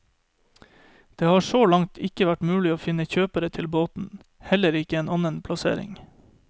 Det har så langt ikke vært mulig å finne kjøpere til båten, heller ikke en annen plassering.